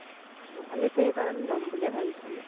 ন্হলে তো এইবাৰ আমি লম বুলিয়ে ভাবিছিলো